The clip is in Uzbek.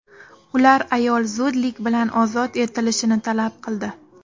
Ular ayol zudlik bilan ozod etilishini talab qildi.